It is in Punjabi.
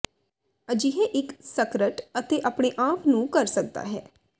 ਅਜਿਹੇ ਇੱਕ ਸਕਰਟ ਅਤੇ ਆਪਣੇ ਆਪ ਨੂੰ ਕਰ ਸਕਦਾ ਹੈ